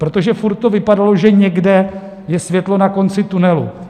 Protože furt to vypadalo, že někde je světlo na konci tunelu.